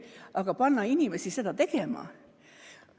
Aga panna inimesi seda tegema!